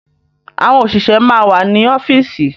Àwọn òṣìṣẹ́ máa wà ní ọ́fíìsì.